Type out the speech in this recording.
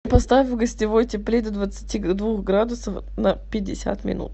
поставь в гостевой теплее до двадцати двух градусов на пятьдесят минут